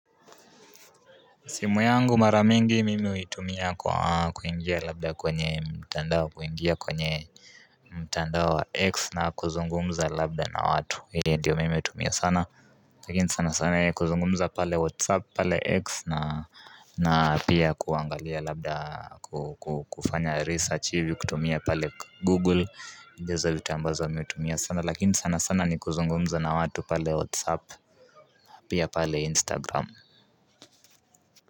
Simu yangu mara mingi mimi huitumia kwa kuingia labda kwenye mtandao kuingia kwenye mtandao wa x na kuzungumza labda na watu. Hiyo ndio mimi hutumia sana lakini sana sana kuzungumza pale whatsapp, pale x, na na pia kuangalia labda kufanya research hivi kutumia pale google, ndizo vitu ambazo nimetumia sana. Lakini sana sana ni kuzungumza na watu pale whatsapp, Pia pale instagram.